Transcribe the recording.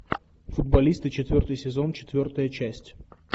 футболисты четвертый сезон четвертая часть